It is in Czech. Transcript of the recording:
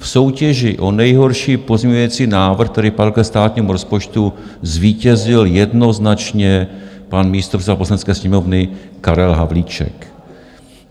V soutěži o nejhorší pozměňovací návrh, který padl ke státnímu rozpočtu, zvítězil jednoznačně pan místopředseda Poslanecké sněmovny Karel Havlíček.